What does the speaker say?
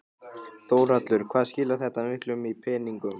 Þórhallur: Hvað skilar þetta miklu í peningum?